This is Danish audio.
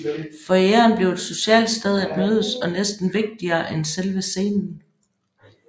Foyeren blev et socialt sted at mødes og næsten vigtigere end selve scenen